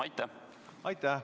Aitäh!